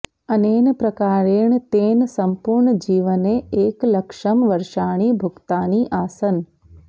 अनेन प्रकारेण तेन सम्पूर्णजीवने एकलक्षं वर्षाणि भुक्तानि आसन्